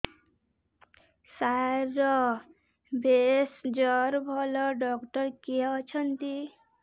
ସାର ଭେଷଜର ଭଲ ଡକ୍ଟର କିଏ ଅଛନ୍ତି